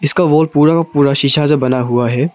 इसका वॉल पूरा का पूरा शीशा से बना हुआ है।